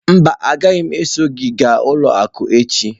Mba, agaghị m eso gị gaa ụlọ akụ echi.